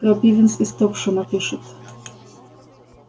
крапивинс из топшэма пишет